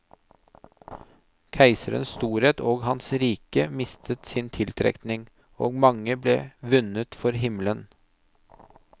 Keiserens storhet og hans rike mistet sin tiltrekning, og mange ble vunnet for himmelen.